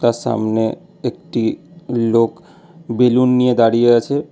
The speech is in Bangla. তার সামনে একটি লোক বেলুন নিয়ে দাঁড়িয়ে আছে।